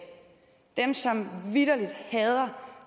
dem som vitterlig hader